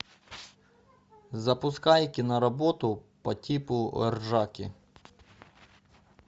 запускай киноработу по типу ржаки